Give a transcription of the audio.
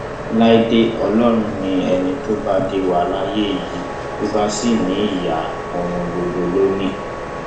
láìdè ọlọrun náà ni ẹni tó bá dé wà láyé yìí tó bá sì ní ìyá òun gbogbo ló ní